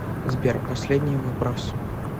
сбер последний вопрос